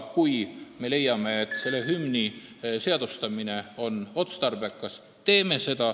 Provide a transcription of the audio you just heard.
Kui me leiame, et hümni seadustamine on otstarbekas, teeme seda.